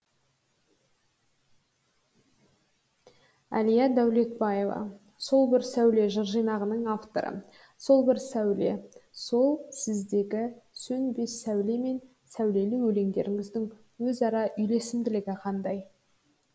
әлия дәулетбаева сол бір сәуле жыр жинағының авторы сол бір сәуле сол сіздегі сөнбес сәуле мен сәулелі өлеңдеріңіздің өзара үйлесімділігі қандай